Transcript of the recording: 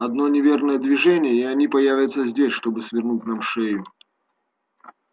одно неверное движение и они появятся здесь чтобы свернуть нам шею